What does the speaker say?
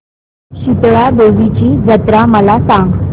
शितळा देवीची जत्रा मला सांग